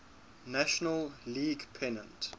national league pennant